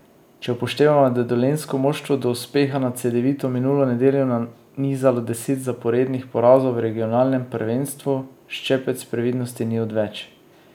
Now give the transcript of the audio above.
Če upoštevamo, da je dolenjsko moštvo do uspeha nad Cedevito minulo nedeljo nanizalo deset zaporednih porazov v regionalnem prvenstvu, ščepec previdnosti ni odveč.